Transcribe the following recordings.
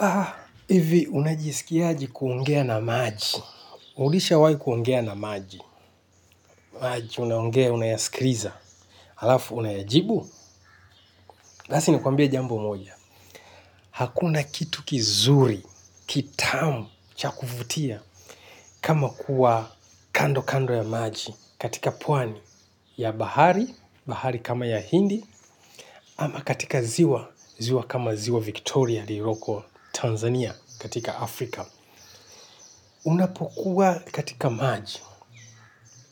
Aa ivi unajisikia aje kuongea na maji ulishawai kuongea na maji maji, unaongea, unayasikiliza alafu unayajibu basi ni kwambie jambo moja. Hakuna kitu kizuri, kitamu, cha kuvutia. Kama kuwa kando kando ya maji. Katika pwani ya bahari, bahari kama ya hindi. Ama katika ziwa, ziwa kama ziwa Victoria lililoko Tanzania katika Afrika. Unapokuwa katika maji,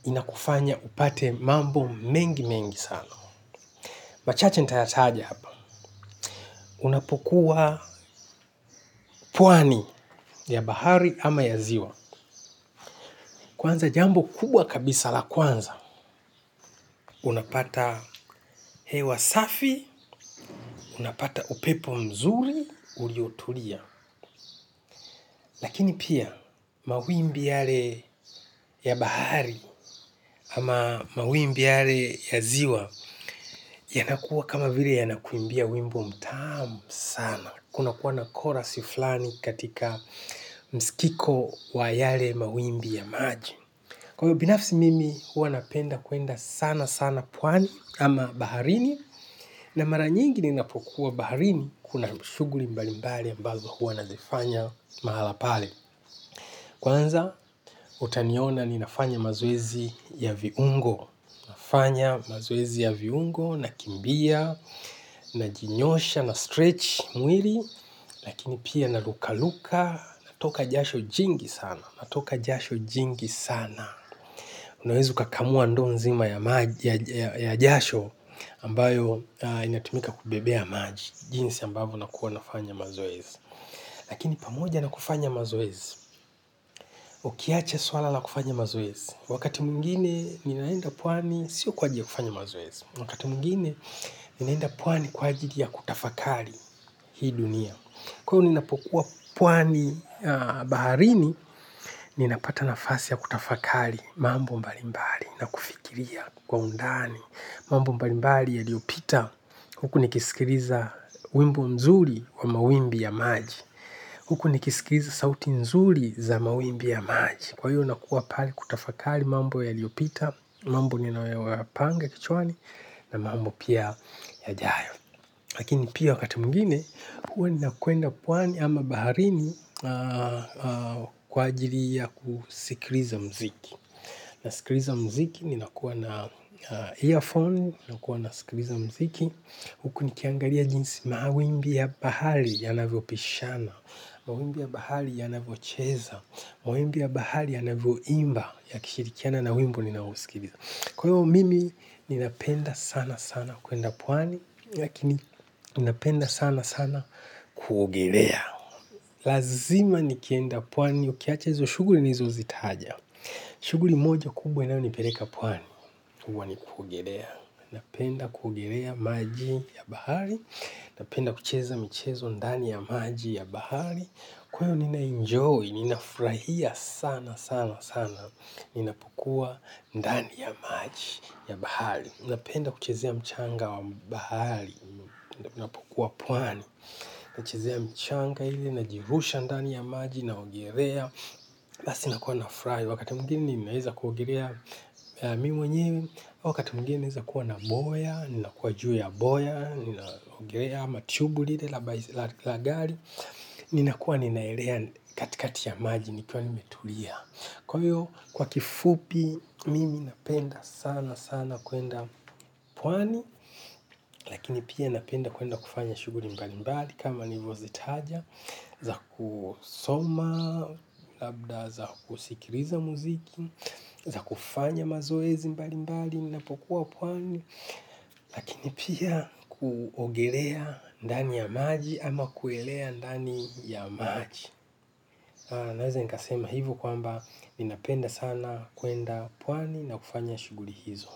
inakufanya upate mambo mengi mengi sana. Machache nitayataja hapa, unapokuwa pwani ya bahari ama ya ziwa kwanza jambo kubwa kabisa la kwanza, unapata hewa safi, unapata upepo mzuri uliotulia. Lakini pia mawimbi yale ya bahari ama mawimbi yale ya ziwa yanakuwa kama vile yanakuimbia wimbo mtamu sana, kuna kuwa na korasi flani katika msikiko wa yale mawimbi ya maji. Kwa ivo binafsi mimi hua napenda kuenda sana sana pwani ama baharini. Na mara nyingi ninapokuwa baharini kuna shughuli mbali mbali ambazo hua nazifanya mahala pale. Kwanza utaniona ninafanya mazoezi ya viungo. Nafanya mazoezi ya viungo, nakimbia, najinyosha, nastretch mwili, lakini pia narukaruka, natoka jasho jingi sana. Unaweza kakamua ndo nzima ya jasho ambayo inatumika kubebea maji, jinsi ambavo nakuwa nafanya mazoezi. Lakini pamoja na kufanya mazoezi. Ukiacha swala na kufanya mazoezi. Wakati mwingine, ninaenda pwani, sio kwa ajiri ya kufanya mazoezi. Wakati mwingine, ninaenda pwani kwa ajili ya kutafakari hii dunia. Kwa ninapokuwa pwani baharini, nina pata nafasi ya kutafakali mambo mbalimbali na kufikiria kwa undani. Mambo mbalimbali yaliopita, huku nikisikiliza wimbo mzuri wa mawimbi ya maji. Huku nikisikiriza sauti nzuri za mawimbi ya maji. Kwa hiyo nakuwa pale kutafakali mambo yaliopita, mambo ninayo ya panga kichwani na mambo pia yajayo. Lakini pia wakati mwingine, huwa nina kwenda pwani ama baharini kwa ajili ya kusikiliza mziki. Na sikiliza mziki nina kuwa na earphone, nina kuwa na sikiliza mziki huku nikiangalia jinsi mawimbi ya bahari ya navyo pishana, mawimbi ya bahari ya navyo cheza, mawimbi ya bahari ya navyo imba ya kishirikiana na wimbo ninaousikiliza, kwa hivo mimi ninapenda sana sana kwenda pwani. Lakini ninapenda sana sana kuogelea. Lazima nikienda pwani ukiacha hizo shughuli nilizo zitaja shughuli moja kubwa inayo nipeleka pwani huwa ni kuogelea, napenda kuogelea maji ya bahari, napenda kucheza michezo ndani ya maji ya bahari. Kwa ivo nina enjoy, ninafurahia sana sana sana ninapokuwa ndani ya maji ya bahari, napenda kuchezea mchanga wa bahari. Ninapokua pwani. Nachezea mchanga ivi, najirusha ndani ya maji na ogelea basi nakuwa na furahi. Wakati mwingine ninaeza kuogelea mimi mwenye au wakati mwingine naeza kuwa na boya, ninakuwa juu ya boya, ninaogelea ama tubu lile la gari ninakua ninaelea katikati ya maji nikiwa nimetulia. Kwa hiyo kwa kifupi mimi napenda sana sana kwenda pwani. Lakini pia napenda kwenda kufanya shughuli mbali mbali kama nilivo zitaja. Za kusoma, labda za kusikiliza muziki, za kufanya mazoezi mbali mbali ninapokua pwani lakini pia kuogelea ndani ya maji ama kuelea ndani ya maji naeza nikasema hivi kwamba ninapenda sana kwenda pwani na kufanya shughuli hizo.